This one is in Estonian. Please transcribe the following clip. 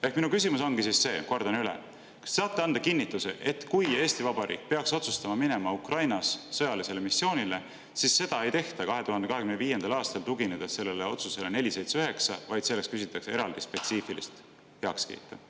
Ehk minu küsimus on see, kordan üle: kas te saate anda kinnituse, et kui Eesti Vabariik peaks otsustama minna Ukrainas sõjalisele missioonile, siis seda ei tehta 2025. aastal otsusele 479 tuginedes, vaid selleks küsitakse eraldi spetsiifilist heakskiitu?